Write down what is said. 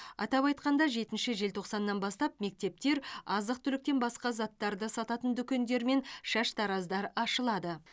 атап айтқанда жетінші желтоқсаннан бастап мектептер азық түліктен басқа заттарды сататын дүкендер мен шаштараздар ашылады